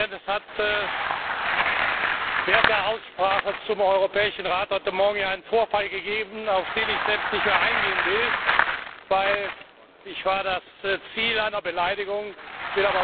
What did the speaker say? Es hat während der Aussprache zum Europäischen Rat heute Morgen hier einen Vorfall gegeben, auf den ich selbst nicht mehr eingehen will, weil ich das Ziel einer Beleidigung war.